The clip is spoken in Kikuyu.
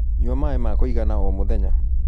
Nyua maĩ makũigana o mũthenya